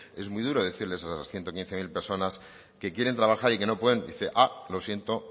es muy duro decirles a esas ciento quince mil personas que quieren trabajar y que no pueden lo siento